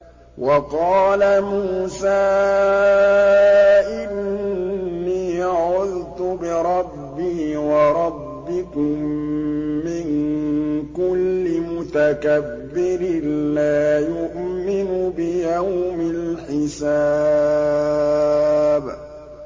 وَقَالَ مُوسَىٰ إِنِّي عُذْتُ بِرَبِّي وَرَبِّكُم مِّن كُلِّ مُتَكَبِّرٍ لَّا يُؤْمِنُ بِيَوْمِ الْحِسَابِ